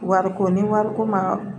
Wariko ni wariko ma